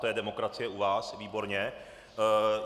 To je demokracie u vás - výborně.